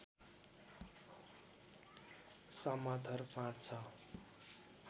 समथर फाँट छ